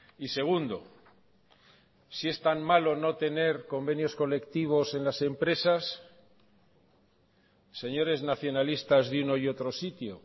y segundo si es tan malo no tener convenios colectivos en las empresas señores nacionalistas de uno y otro sitio